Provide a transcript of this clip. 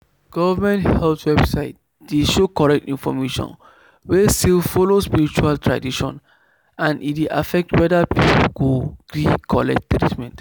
government health website dey post correct information wey still follow spiritual tradition and e dey affect whether people go gree collect treatment.